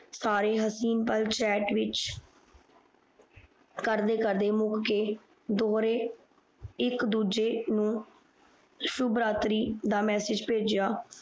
ਸਾਰੇ ਹਸੀਨ ਪਾਲ Chat ਵਿਚ ਕਰਦੇ ਕਰਦੇ ਮੋਹ ਦੇ ਦੋਰੇ ਇਕ ਦੂਜੇ ਨੂੰ ਸ਼ੁਭਰਾਤ੍ਰੀ ਦਾ ਮਸਸਜ ਪੇਜਯਾ